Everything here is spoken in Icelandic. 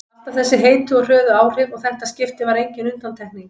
Alltaf þessi heitu og hröðu áhrif og þetta skipti var engin undantekning.